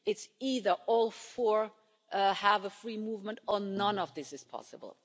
It's either all four have free movement or none of this is possible.